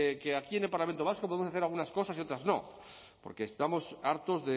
que aquí en el parlamento vasco podemos hacer algunas cosas y otras no porque estamos hartos